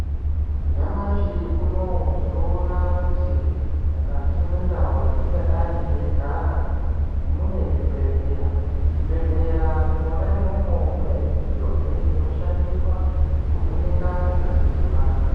Nyamashi unouyu tinoona kuti mukati mwendau dzatingadai teigara munezvibhedhleya. Muzvibhedhleya imwona imwomwo mune midziyozve inoshandiswa kuvheneka ngazi dzevantu.